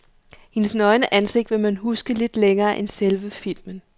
Hendes nøgne ansigt vil man huske lidt længere end selve filmen.